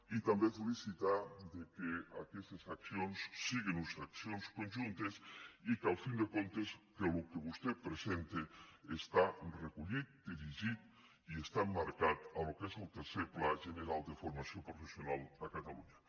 i també felicitar que aques·tes accions siguen unes accions conjuntes i que al cap i a la fi el que vostè presenta està recollit dirigit i està emmarcat en el que és el tercer pla general de formació professional de catalunya